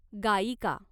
गायिका